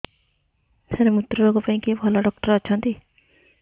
ସାର ମୁତ୍ରରୋଗ ପାଇଁ କିଏ ଭଲ ଡକ୍ଟର ଅଛନ୍ତି